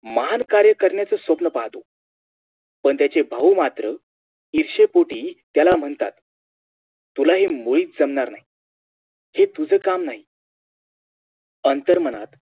महान कार्य करण्याचं स्वप्न पाहतो पण त्याचे भाऊ मात्र इर्ष्येपोटी त्याला म्हणतात तुला हे मुळीच जमणार नाही हे तुज काम नाही अंतरमनात